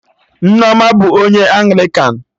Nneoma bụ onye Anglịkan